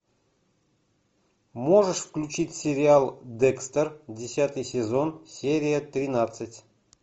можешь включить сериал декстер десятый сезон серия тринадцать